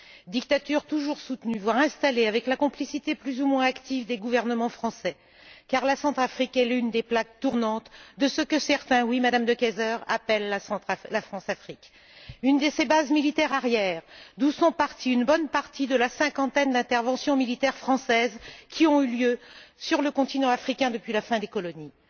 Dictatures toujours soutenues, voire installées avec la complicité plus ou moins active des gouvernements français, car la Centrafrique est l'une des plaques tournantes de ce que certains oui, Madame De Keyser appellent la Françafrique, une de ses bases militaires arrières, d'où sont parties bon nombre de la cinquantaine d'interventions militaires françaises qui ont eu lieu sur le continent africain depuis la fin des colonies.